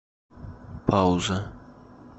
пауза